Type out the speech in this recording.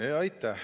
Aitäh!